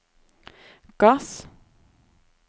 gass